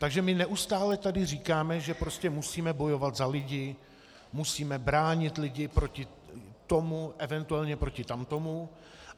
Takže my neustále tady říkáme, že prostě musíme bojovat za lidi, musíme bránit lidi proti tomu, eventuálně proti tamtomu.